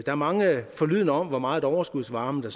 er mange forlydender om hvor meget overskudsvarme der